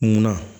Munna